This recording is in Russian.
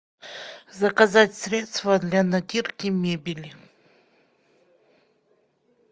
заказать средство для натирки мебели